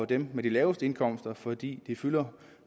dem med de laveste indkomster fordi de fylder